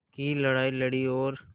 की लड़ाई लड़ी और